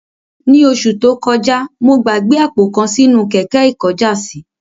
Ní oṣù tó kojá, mo gbàgbé àpò kan sínú kẹ̀kẹ́ ikojásí